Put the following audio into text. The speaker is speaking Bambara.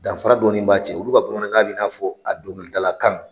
Danfara dɔɔni b'a cɛ, olu ka bamanankan bɛ na'a fɔ a donkilida kan!